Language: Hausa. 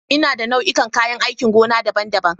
Ina da nau'ikan kayan aikin gona daban-daban.